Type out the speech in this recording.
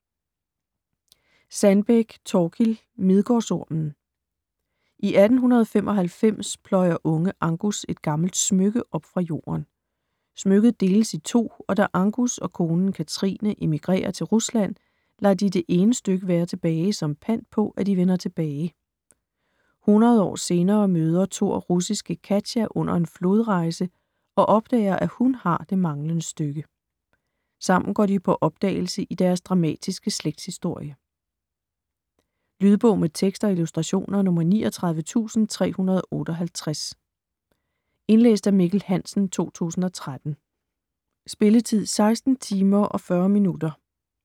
Sandbeck, Thorkild: Midgårdsormen I 1895 pløjer unge Angus et gammelt smykke op fra jorden. Smykket deles i to, og da Angus og konen Kathrine emigrerer til Rusland, lader de det ene stykke være tilbage som pant på, at de vender tilbage. 100 år senere møder Thor russiske Katya under en flodrejse og opdager, at hun har det manglende stykke. Sammen går de på opdagelse i deres dramatiske slægtshistorie. Lydbog med tekst og illustrationer 39358 Indlæst af Mikkel Hansen, 2013. Spilletid: 16 timer, 40 minutter.